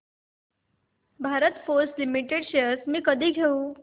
Bharat Forge Limited shares मी कधी घेऊ